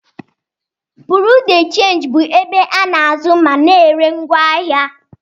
Bureau de change bụ ebe a na-azụ ma na-ere ngwaahịa.